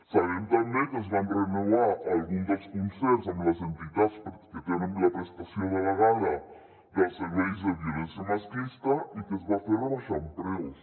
sabem també que es van renovar alguns dels concerts amb les entitats que tenen la prestació delegada dels serveis de violència masclista i que es va fer rebaixant preus